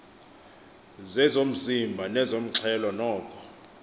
zezomzimba nezomxhelo noko